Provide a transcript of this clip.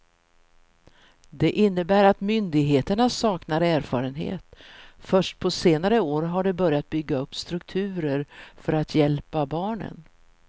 Det innebär att myndigheterna saknar erfarenhet, först på senare år har de börjat bygga upp strukturer för att hjälpa barnen.